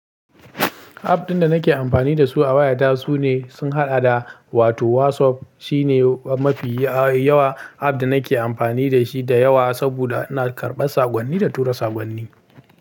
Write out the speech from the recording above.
App ɗin da nake amfani da su a wayata sune sun haɗa da wato WhatsApp shine mafi yawa app da nake amfani da shi da yawa saboda ina karɓar saƙonni da tura saƙonni.